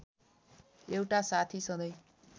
एउटा साथी सधैँ